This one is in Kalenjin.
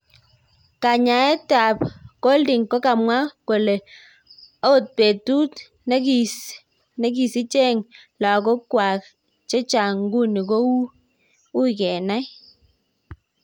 Kanyoetet Golding kokamwa kole, okng petut nekisicheng logowek cheng chang, nguni ko uii kenan